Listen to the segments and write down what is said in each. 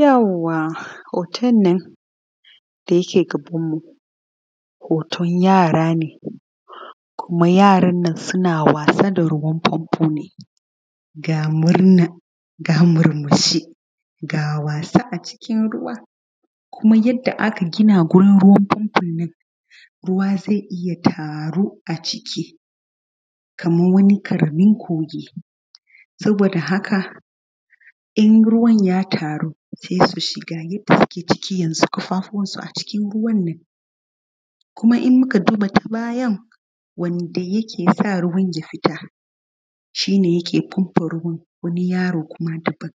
Yauwa hotonnan da yake gabanmu hoton yara ne kuma yarannnan na wasa da ruwan fanfone ga murna ga murmushi a cikin ruwa kuma yanda aka gina wurin ruwan fanfonnan ruwa zai iya taruwa a ciki kaman wani ƙaramin kogi sabo da hakan in ruwan ya taru sesu shiga ƙafafuwansu a ciki kuma in muka duba ta bayan wanda yakesa ruwan ya fita shine yake fanfa ruwan wani yaro kuma daban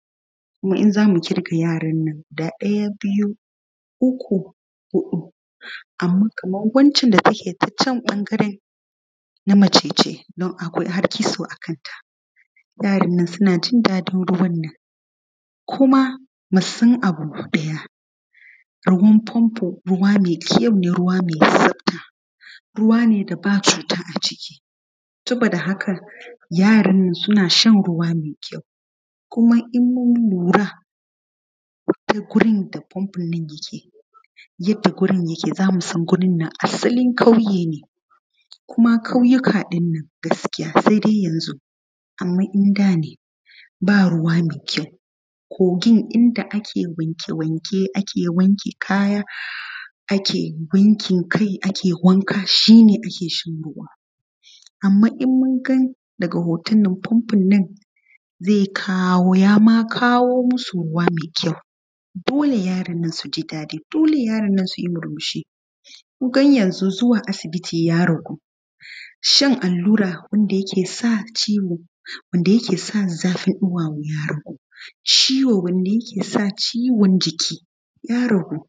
kuma in zamu ƙirga yarannan ɗaya, ɓiyu, uƙu, huɗu anma kaman wancan da yake tacan ɓangaren na macace dun akwai har kitso a kanta yarannan sunajin daɗin ruwannan kuma musan abu ɗaya ruwan fanfo ruwa mekyaune ruwa me tsafta ruwane da cuta a ciki sabo da haka yarannan suna shan ruwane me kyau ko in mun lura wurinnan da fandonnan yake yanda wurinnan yalke zamusan asalin ƙauye ne kuma ƙauyika ɗin nan gaskiya saidai yanzu anman indane ba ruwa mai kyau kogin inda ake wanke wanke ake wanke kaya ake wankin kai ake wanka shine akeshan ruwa anman in munga daga hotonnan yama kawo musu ruwa mai kyau dole yarannan suti murmushi kunga yanzu zuwa asibiti ya ragu shan allura wanda yake sa ciwo wanda yakesa zafin ɗuwawo ciwo wanda yake sa ciwon jiki ya ragu.